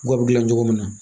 U ka gilan cogo min na